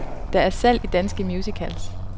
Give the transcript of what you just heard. Der er salg i danske musicals.